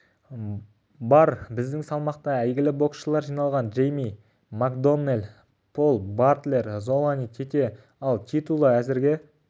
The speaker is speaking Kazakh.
бар біздің салмақта әйгілі боксшылар жиналған джейми макдоннелл пол батлер золани тете ал титулы әзірге